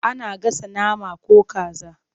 Ana gasa nama ko kaza.